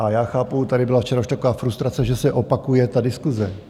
A já chápu, tady byla včera už taková frustrace, že se opakuje ta diskuse.